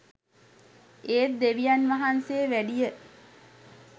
ඒත් දෙවියන් වහන්සේ වැඩිය